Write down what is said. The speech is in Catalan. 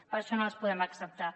per això no les podem acceptar